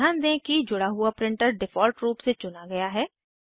ध्यान दें कि जुड़ा हुआ प्रिंटर डिफ़ॉल्ट रूप से चुना गया है